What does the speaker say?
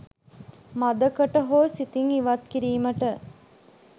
මද කට හෝ සිතින් ඉවත් කිරීමට